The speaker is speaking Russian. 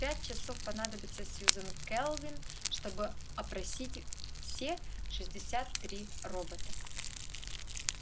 пять часов понадобилось сьюзен кэлвин чтобы опросить все шестьдесят три робота